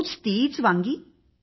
रोज तीच वांगी